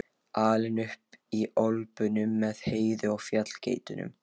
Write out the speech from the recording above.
Alinn upp í Ölpunum með Heiðu og fjallageitunum?